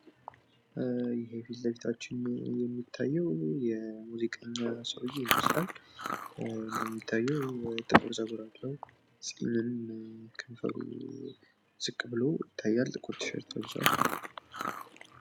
ይሄ ፊትለፊት የሚታየው የሙዚቃ ሰውየ ይመስላል። እንደሚታየው ጥቁር ጸጉር አለው። ጺም ከከንፈሩ ዝቅ ብሎ ይታያል። ጥቁር ሸሚዝ ለብሷል።